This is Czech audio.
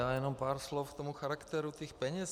Já jen pár slov k tomu charakteru těch peněz.